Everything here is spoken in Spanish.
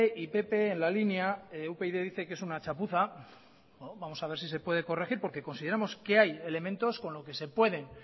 y pp en la línea upyd dice que es una chapuza vamos a ver si puede corregir porque consideramos que hay elementos con los que se pueden